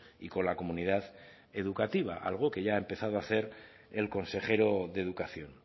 y con la comunidad educativa algo que ya ha empezado a hacer el consejero de educación